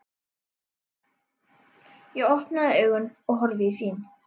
Ég opna augun og horfi í þín.